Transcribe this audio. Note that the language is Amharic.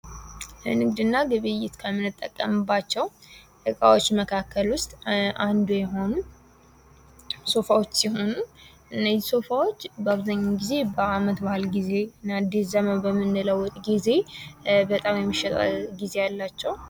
ንግድና ግብይት ከምንጠቀምባቸው እቃዎች መካከል ውስጥ አንዱ የሆነው ሶፋዎች ሲሆኑ እነዚህ ሶፋዎች በአብዛኛው ጊዜ በአመት በአል ጊዜ አድስ ዘመን በምንለው ጊዜ በጣም የሚሸጥ ጊዜ አላቸው።